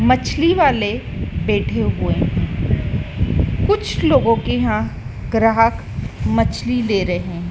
मछली वाले बैठे हुए कुछ लोगों के यहां ग्राहक मछली ले रहे हैं।